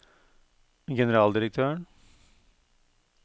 generaldirektøren